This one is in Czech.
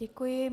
Děkuji.